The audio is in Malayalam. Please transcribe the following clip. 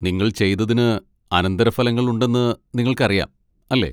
നിങ്ങൾ ചെയ്തതിന് അനന്തരഫലങ്ങൾ ഉണ്ടെന്ന് നിങ്ങൾക്കറിയാം, അല്ലേ?